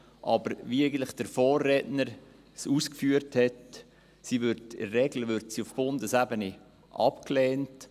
Wie eigentlich der Vorredner ausgeführt hat, wird sie aber in der Regel auf Bundesebene abgelehnt.